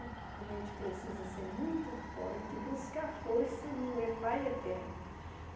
A gente precisa ser muito forte e buscar força no eh Pai Eterno.